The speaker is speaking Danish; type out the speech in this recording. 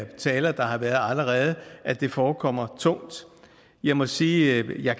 talere der har været allerede at det forekommer tungt jeg må sige at jeg